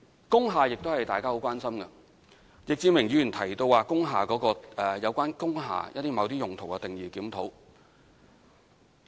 工廈亦是大家很關心的議題，易志明議員提到對有關工廈用途定義的檢討。